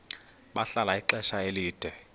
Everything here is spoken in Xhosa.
bahlala ixesha elide